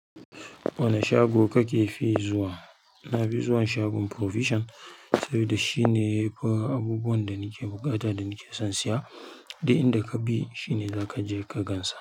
Wane shago kake fi zuwa? Nafi zuwa shagon provision sabida shine yafi abubuwan da nake buƙata da nake son siya, duk inda kabi shine zaka je ka gansa.